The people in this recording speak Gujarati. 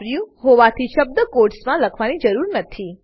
વાપર્યું હોવાથી શબ્દ કોટસમાં લખવાની જરૂરત નથી